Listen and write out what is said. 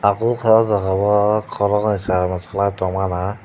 obo wngka o jaga o koroknoi cherai rok musalai tongmana.